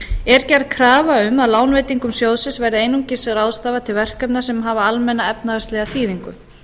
er gerð krafa um að lánveitingum sjóðsins verði einungis ráðstafað til verkefna sem hafa almenna efnahagslega þýðingu